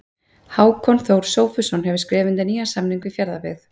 Hákon Þór Sófusson hefur skrifað undir nýjan samning við Fjarðabyggð.